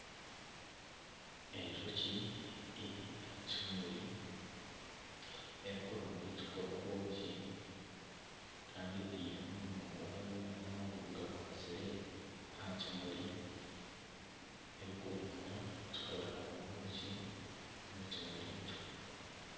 Enjoki eri aha kimuri erikuronda ekikukora obwoki kandi eteiremu omunwa gwayo n'amaguru gakwatsire aha kimuri erikuronda ekikukora obwoki omu kimuri ekyo.